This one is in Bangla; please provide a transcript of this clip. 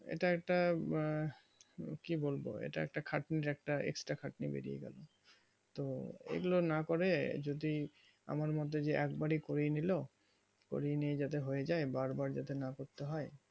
এটা একটা আঃ কি বলবো এটা একটা খাটনির একটা exterior খাটনি বেরিয়েগেলো তো এই গুলো না করে যদি আমার মধ্যে যে এক বারেই করে নিলো করিয়ে নিয়ে যাতে হয়ে যাই বার বার যাতে না করতে হয়